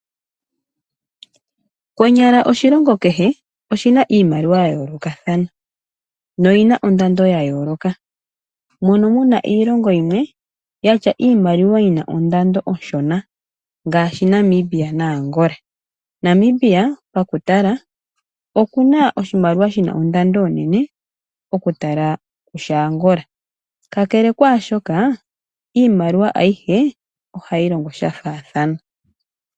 Konyala oshilongo kehe oshi na iimaliwa ya yoolokathana noyi na ondando ya yooloka. Mono mu na iilongo yimwe yi na iimaliwa yi na ondando onshona; ngaashi Namibia naAngola. Namibia pakutala oku na oshimaliwa shi na ondando onene okuyelekanitha naAngola. Kakele kaa shoka, iimaliwa ayihe ohayi longo sha faathana.